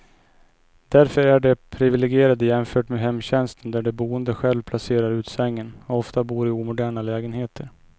Därför är de priviligierade jämfört med hemtjänsten där de boende själv placerar ut sängen, och ofta bor i omoderna lägenheter.